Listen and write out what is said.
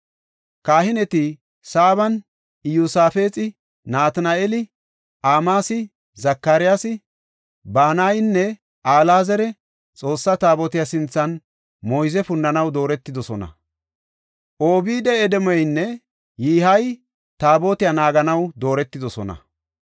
Kahineti Sabaani, Iyosaafexi, Natina7eeli, Amasayi, Zakariyasi, Banayinne Alaazari Xoossa Taabotiya sinthan moyze punnanaw dooretidosona. Obeed-Edoomeynne Yihey Taabotiya naaganaw dooretidosona.